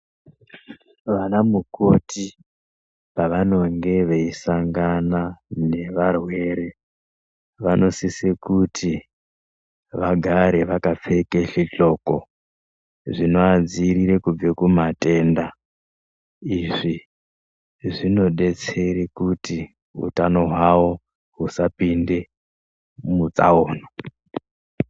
Vanamukoti pavanonge veisangana nevarwere vanosise kuti vagare vakapfeke zvidxoko zvinoadziirire kubve kumatenda izvi zvinodetsere kuti utano hwawo husapinde mutsaona.